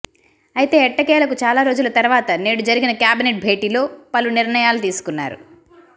అయితే ఎట్టకేలకు చాలారోజుల తర్వాత నేడు జరిగిన కేబినెట్ భేటీలో పలు నిర్ణయాలు తీసుకున్నారు